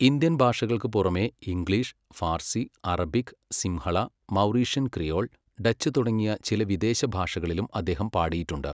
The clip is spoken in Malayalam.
ഇന്ത്യൻ ഭാഷകൾക്ക് പുറമെ English, Farsi, Arabic, Sinhala, Mauritian Creole, Dutch തുടങ്ങിയ ചില വിദേശഭാഷകളിലും അദ്ദേഹം പാടിയിട്ടുണ്ട്.